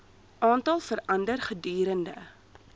aantal verander gedurende